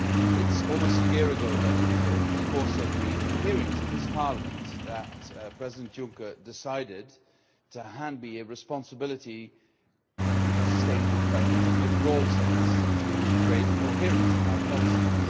It is almost a year ago that, in the course of the hearings in this Parliament, President Juncker decided to hand me responsibility for sustainable development in a broad sense to create coherence in our policies.